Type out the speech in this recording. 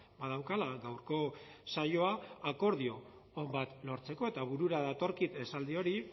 badaukala gaurko saioa akordio on bat lortzeko eta burura datorkit esaldi hori